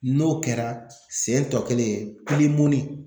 N'o kɛra sen tɔ kelen